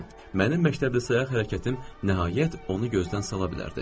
Mənim məktəbli sayaq hərəkətim nəhayət onu gözdən sala bilərdi.